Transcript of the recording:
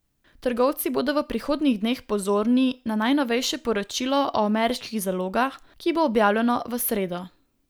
Trgovci bodo v prihodnjih dneh pozorni na najnovejše poročilo o ameriških zalogah, ki bo objavljeno v sredo.